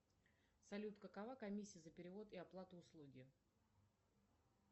салют какова комиссия за перевод и оплату услуги